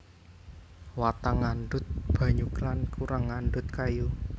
Watang ngandhut banyu lan kurang ngandhut kayu